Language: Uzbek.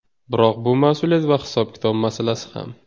Biroq bu mas’uliyat va hisob-kitob masalasi ham.